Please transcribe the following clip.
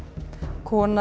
kona